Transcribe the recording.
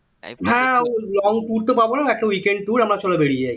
হ্যাঁ long tour তো পাবো না একটা weekend tour চলো আমরা চলো বাড়িয়ে যাই